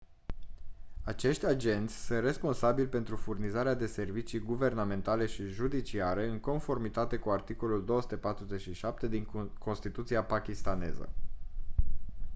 acești agenți sunt responsabili pentru furnizarea de servicii guvernamentale și judiciare în conformitate cu articolul 247 din constituția pakistaneză